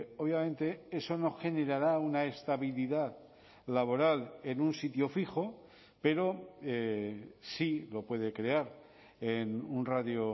obviamente eso no generará una estabilidad laboral en un sitio fijo pero sí lo puede crear en un radio